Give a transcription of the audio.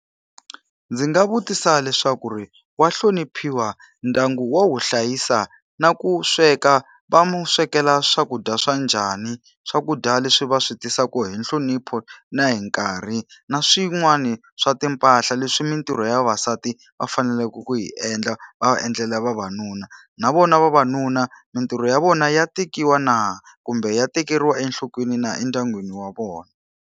Ndzi nga vutisa leswaku ri wa hloniphiwa? Ndyangu wa wu hlayisa? Na ku sweka, va n'wi swekela swakudya swa njhani? Swakudya leswi va swi tisaka hi nhlonipho na hi nkarhi. Na swin'wani swa timpahla leswi mintirho ya vavasati va faneleke ku yi endla, va va endlela vavanuna. Na vona vavanuna mintirho ya vona ya tekiwa na? Kumbe ya tekeriwa enhlokweni na endyangwini wa vona?